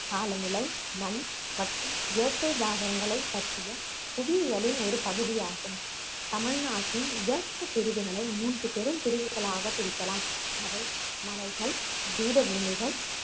காலநிலை மண் மற்றும் இயற்கை தாவரங்களைப் பற்றிய புவியியலின் ஒரு பகுதியாகும் தமிழ்நாட்டின் இயற்கை பிரிவுகளை மூன்று பெரும் பிரிவுகளாகப் பிரிக்கலாம் அவை மலைகள், பீடபூமிகள்